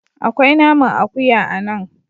Akwai naman akuya a nan.